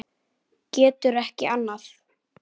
Getur ekki annað.